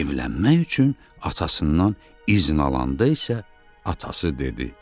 Evlənmək üçün atasından izin alanda isə atası dedi: